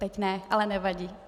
Teď ne, ale nevadí.